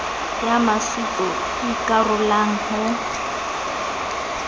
ya maswetso e ikarolang ho